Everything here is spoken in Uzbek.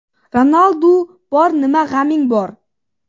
Ronaldu bor, nima g‘aming bor!?